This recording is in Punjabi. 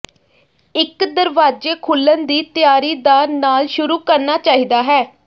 ਇਕ ਦਰਵਾਜ਼ੇ ਖੁੱਲਣ ਦੀ ਤਿਆਰੀ ਦਾ ਨਾਲ ਸ਼ੁਰੂ ਕਰਨਾ ਚਾਹੀਦਾ ਹੈ